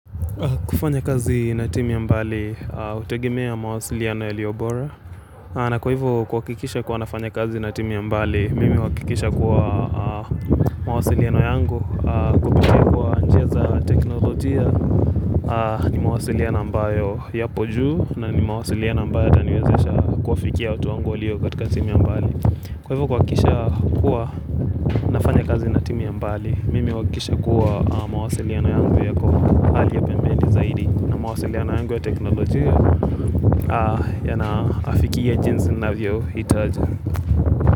Kufanya kazi na timu ya mbali, hutegemea mawasiliano yaliyo bora na kwa hivo kuhakikisha kuwa nafanya kazi na timu ya mbali, mimi huakikisha kuwa mawasiliano yangu Kupitia kuwa njia za teknolojia, ni mawasiliano ambayo yapo juu na ni mawasiliano ambayo yataniwezesha kuwafikia watu wangu walio katika sehemu ya mbali Kwa hivyo kuakikisha kuwa nafanya kazi na timu ya mbali, mimi huakisha kuwa mawasiliano yangu yako hali ya pembeni zaidi na mawasiliano yangu ya teknolojia yanaafikia jinsi navyo itaja.